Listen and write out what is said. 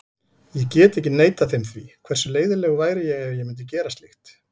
Ég get ekki neitað þeim því, hversu leiðinlegur væri ég ef ég myndi gera slíkt?